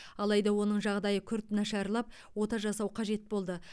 алайда оның жағдайы күрт нашарлап ота жасау қажет болды